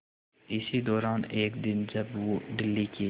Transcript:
इसी दौरान एक दिन जब वो दिल्ली के